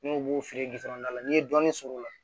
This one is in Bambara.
N'o b'o feere la n'i ye dɔɔnin sɔrɔ o la